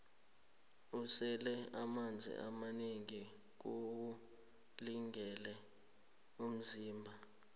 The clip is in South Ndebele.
ukusela amanzi amanengi kuwulungele umzimba